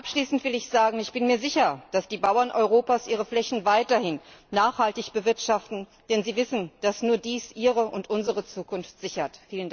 Abschließend will ich sagen Ich bin mir sicher, dass die Bauern Europas ihre Flächen weiterhin nachhaltig bewirtschaften, denn sie wissen, dass nur dies ihre und unsere Zukunft sichert.